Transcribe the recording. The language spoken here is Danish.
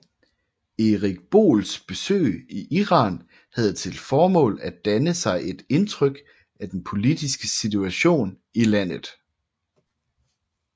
Erik Boels besøg i Iran havde til formål at danne sig et indtryk af den politiske situation i landet